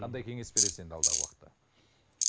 қандай кеңес бересіз енді алдағы уақытта